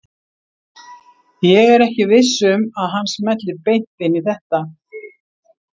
Ég er ekki viss um að hann smelli beint inn í þetta.